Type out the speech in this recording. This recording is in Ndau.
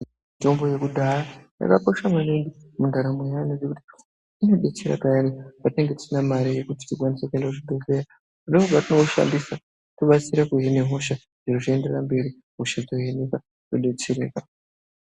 Mitombo yekudhaya yakakosha maningi mundaramo yaantu ngekuti inodetsera payani patinenge tisina mare yekuti tiende kuzvibhedhlera kudai ngekuti patinoishandisa tokasire kuhina hosha zviro zvoenderera mberi tokasire kuhina hosha todetsereka.